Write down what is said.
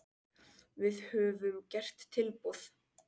Við höfum gert tilboð.